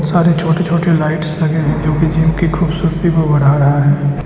सारे छोटे छोटे लाइट्स लगे हुए हैं जोकि जिम की खूबसूरती को बढ़ा रहा है।